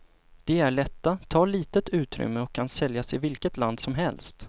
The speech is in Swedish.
De är lätta, tar litet utrymme och kan säljas i vilket land som helst.